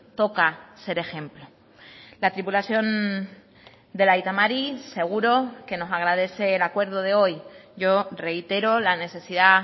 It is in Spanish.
toca ser ejemplo la tripulación del aita mari seguro que nos agradece el acuerdo de hoy yo reitero la necesidad